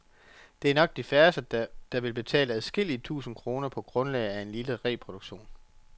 Det er nok de færreste, der vil betale adskillige tusinde kroner på grundlag af en lille reproduktion.